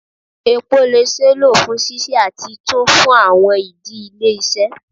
Epo le ṣee lo fun sise ati tun fun awọn idi ile-iṣẹ